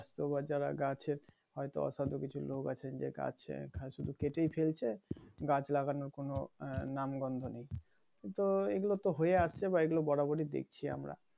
তো আবার যারা গাছের হয়তো অসাধু কিছু লোক আছে যে গাছ গাছ শুধু কেটেই ফেলছে গাছ লাগানোর কোন আহ নাম গন্ধ ও নেই । তো এইগুলো তো হয়ে আসছে বা বরাবরই দেখছি আমরা